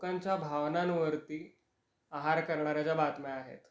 लोकांच्या भावनांवरती आहार करणाऱ्या ज्या बातम्या आहेत,